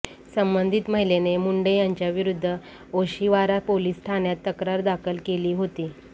संबंधित महिलेने मुंडे यांच्याविरुद्ध ओशिवारा पोलीस ठाण्यात तक्रार दाखल केली होती